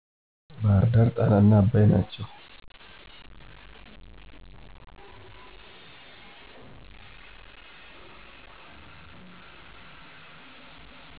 ባህርዳር ጣናና አባይ ናቸው።